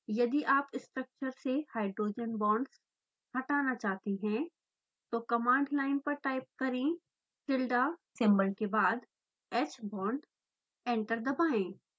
यदि आप स्ट्रक्चर से हाइड्रोजन बांड्स हटाना चाहते हैं तो कमांड लाइन पर टाइप करें: tilda सिंबल के बाद hbond एंटर दबाएँ